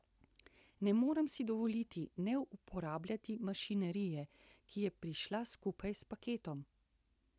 Ne morem si dovoliti ne uporabljati mašinerije, ki je prišla skupaj s paketom.